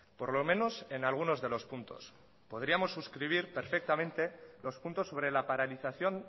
por lo menos en algunos de los puntos podríamos suscribir perfectamente los puntos sobre la paralización